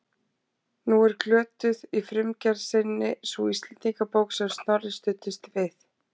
Nú er glötuð í frumgerð sinni sú Íslendingabók sem Snorri studdist við.